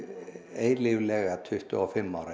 eilíflega tuttugu og fimm ára